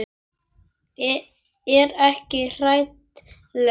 Er ekki hrædd lengur.